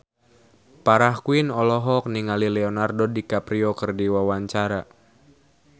Farah Quinn olohok ningali Leonardo DiCaprio keur diwawancara